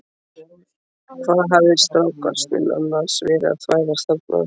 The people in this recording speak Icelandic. Hvað hafði strákasninn annars verið að þvælast þarna?